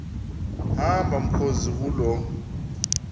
hamba mkhozi kuloo